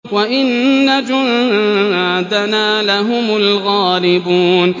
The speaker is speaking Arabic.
وَإِنَّ جُندَنَا لَهُمُ الْغَالِبُونَ